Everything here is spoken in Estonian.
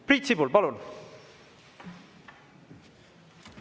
Priit Sibul, palun!